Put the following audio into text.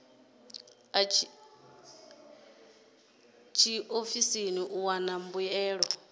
a tshiofisi u wana mbuelo